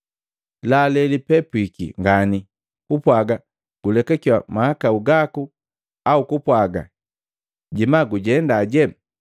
Laa lelipepwiki ngani, kupwaga, ‘Gulekakiwi mahakau gaku,’ au kupwaaga, ‘Jema gujendaje?’